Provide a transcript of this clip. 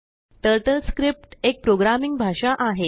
TurtleScriptएकप्रोग्रामिंगभाषा आहे